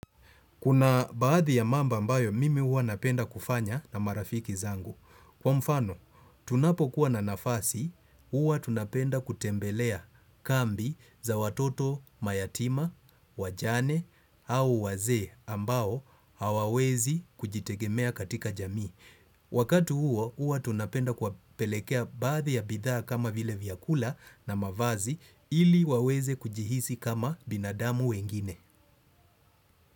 Kuna baadhi ya mambo ambayo mimi huwa napenda kufanya na marafiki zangu. Kwa mfano, tunapo kuwa na nafasi, huwa tunapenda kutembelea kambi za watoto mayatima, wajane au wazee ambao hawawezi kujitegemea katika jamii. Wakatu huo, huwa tunapenda kuwapelekea baadhi ya bidhaa kama vile vyakula na mavazi ili waweze kujihisi kama binadamu wengine.